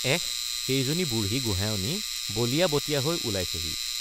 S সেইজনী বুঢ়ী গোহাঁয়নী বলিয়া বতিয়া হৈ ওলাইছেহি।